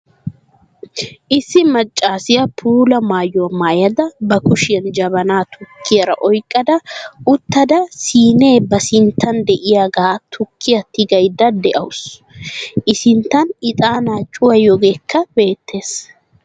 Issi maccaasiya puula maayuwa maayyada ba kushiyan jabanaa tukkiyaara oyiqqada uttada siinee ba sinttan diyagan tukkiya tigayidda dawusu. I sinttan ixaanaa cuwayiyogeekka beettes.